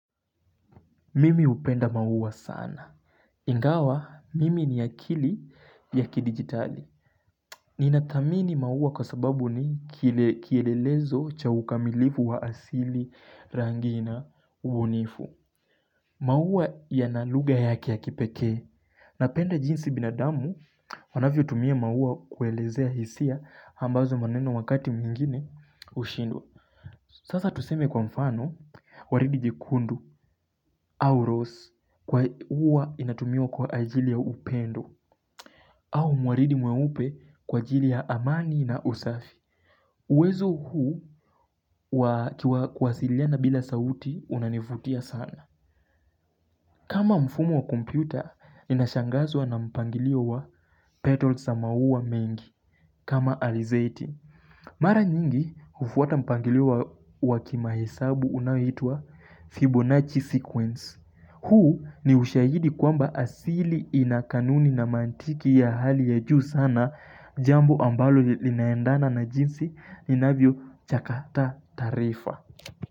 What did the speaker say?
Mimi hupenda maua sana Ingawa mimi ni akili yaki digitali Ninadhamini maua kwa sababu ni kielelezo cha ukamilivu wa asili rangina ubunifu maua yana lugha yake ya kipekee Napenda jinsi binadamu anavyo tumia maua kuelezea hisia ambazo maneno wakati mwingine ushindwa Sasa tuseme kwa mfano, waridi jikundu au rose uwa inatumiwa kwa ajili ya upendo au mwaridi mweupe kwa ajili ya amani na usafi. Uwezo huu wa kuwasiliana bila sauti unanifutia sana. Kama mfumo wa kompyuta, nina shangazwa na mpangilio wa petals za maua mengi kama alizeti. Mara nyingi ufuata mpangilio wa kimahesabu unahitua Fibonacci Sequence. Huu ni ushahidi kwamba asili inakanuni na mantiki ya hali ya juu sana jambo ambalo linaendana na jinsi ninavyochakata taarifa.